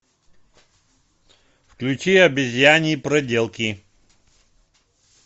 включи обезьяньи проделки